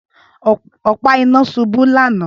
Ọpa ina ṣubú lana